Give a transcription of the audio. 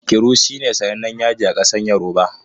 Iru shine sanannen yaji a ƙasar yoruba.